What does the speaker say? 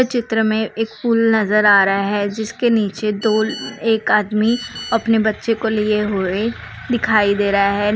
ये चित्र में एक पुल नजर आ रहा हैजिसके नीचे दो एक आदमी अपने बच्चे को लिए हुए दिखाई दे रहा है।